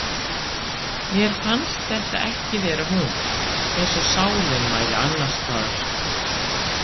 Mér fannst þetta ekki vera hún, eins og sálin væri annarstaðar.